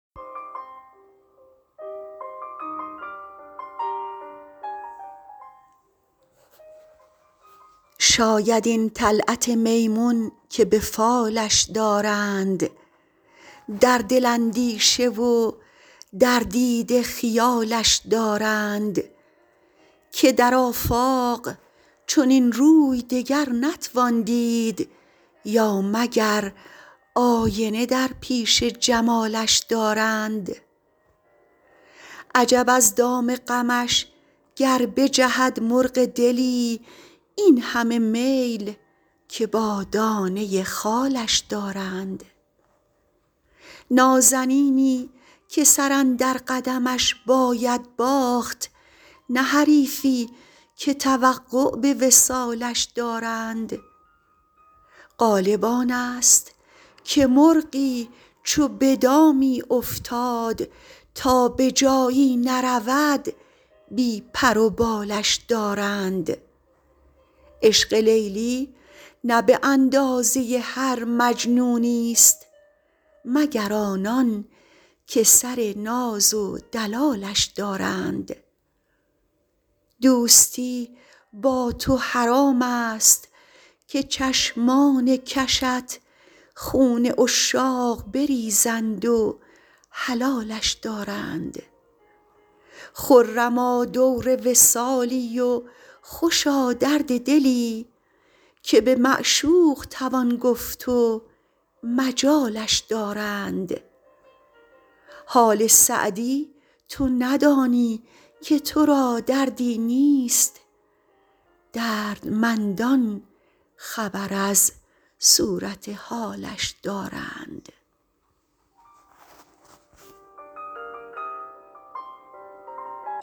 شاید این طلعت میمون که به فالش دارند در دل اندیشه و در دیده خیالش دارند که در آفاق چنین روی دگر نتوان دید یا مگر آینه در پیش جمالش دارند عجب از دام غمش گر بجهد مرغ دلی این همه میل که با دانه خالش دارند نازنینی که سر اندر قدمش باید باخت نه حریفی که توقع به وصالش دارند غالب آن ست که مرغی چو به دامی افتاد تا به جایی نرود بی پر و بالش دارند عشق لیلی نه به اندازه هر مجنونی ست مگر آنان که سر ناز و دلالش دارند دوستی با تو حرام ست که چشمان کشت خون عشاق بریزند و حلالش دارند خرما دور وصالی و خوشا درد دلی که به معشوق توان گفت و مجالش دارند حال سعدی تو ندانی که تو را دردی نیست دردمندان خبر از صورت حالش دارند